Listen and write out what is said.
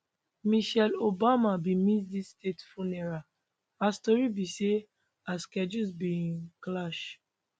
michelle obama bin miss dis state funeral as tori be say her schedules bin clash